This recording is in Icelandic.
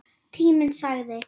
Tíminn sagði: